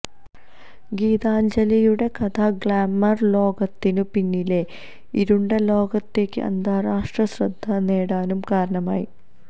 ഗീതാഞ്ജലിയുടെ കഥ ഗ്ലാമർ ലോകത്തിനു പിന്നിലെ ഇരുണ്ട ലോകത്തേക്ക് അന്താരാഷ്ട്ര ശ്രദ്ധ നേടാനും കാരണമായി